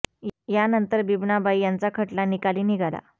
यानंतर बिबनाबाई यांचा खटला निकाली निघाला